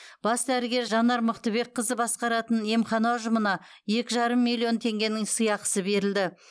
бас дәрігер жанар мықтыбекқызы басқаратын емхана ұжымына екі жарым миллион теңгенің сыйақысы берілді